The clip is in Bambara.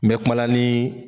N bɛ kumala nii